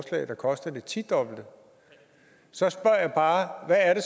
der koster det tidobbelte så spørger jeg bare hvad er det